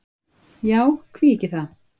Já, hví ekki það.